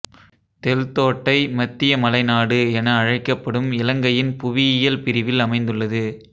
தெல்தோட்டை மத்திய மலைநாடு என அழைக்கப்படும் இலங்கையின் புவியியல் பிரிவில் அமைந்துள்ளது